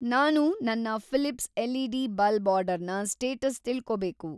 ನಾನು ನನ್ನ ‌ Philips LED. Bulb ಆರ್ಡರ್‌ನ‌ ಸ್ಟೇಟಸ್‌ ತಿಳ್ಕೋಬೇಕು.